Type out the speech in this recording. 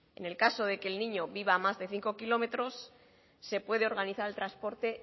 en el caso de que el niño viva a más de cinco km se puede organizar el transporte